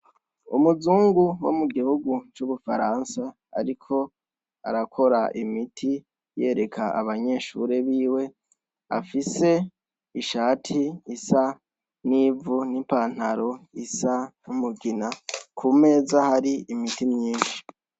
Umuzungu wo mu gihugu c'ubufaransa, ariko arakora imiti yereka abanyeshure biwe afise ishati isa n'ivu n'ipantaro isa numugina ku meza hari imiti myinshi.